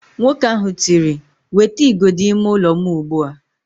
Nwoke ahụ tiri, "wetaa igodo ime ụlọ m ugbu a"!